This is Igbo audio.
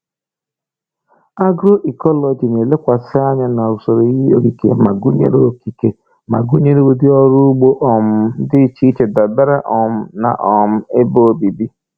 Agroecology na-elekwasị anya na usoro ihe okike ma gụnyere okike ma gụnyere ụdị ọrụ ugbo um dị iche iche dabere um na um ebe obibi.